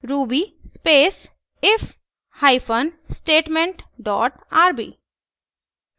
ruby space if hyphen statement dot rb